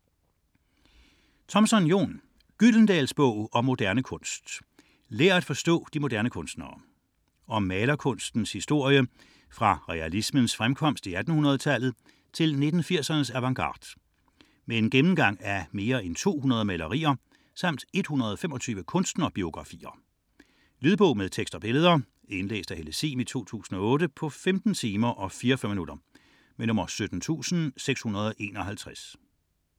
74.17 Thompson, Jon: Gyldendals bog om moderne kunst: lær at forstå de moderne kunstnere Om malerkunstens historie fra realismens fremkomst i 1800-tallet til 1980'ernes avantgarde. Med en gennemgang af mere en 200 malerier samt 125 kunstnerbiografier. Lydbog med tekst og billeder 17651 Indlæst af Helle Sihm, 2008. Spilletid: 15 timer, 44 minutter.